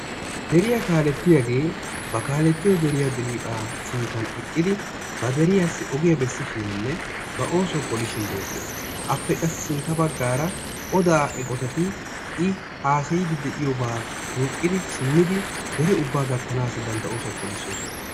Deriya kaalettiyage bari kaalettiyo deriya dirriphpha sinttan eqqidi ba deriyasi ogiya beesishinineba oosuwa pollishin beetees. Appe qa sintta baggaara oda eqqotati i haasayidi deiyoba duuqidi simmidi dere ubbasi gattanasi bantta oosuwaa polisosona.